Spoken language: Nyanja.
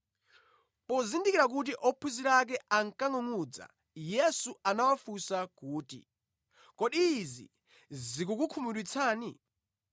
Pozindikira kuti ophunzira ake ankangʼungʼudza, Yesu anawafunsa kuti, “Kodi izi zikukukhumudwitsani?